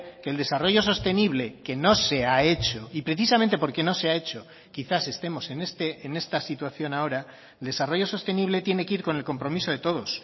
que el desarrollo sostenible que no se ha hecho y precisamente porque no se ha hecho quizás estemos en esta situación ahora desarrollo sostenible tiene que ir con el compromiso de todos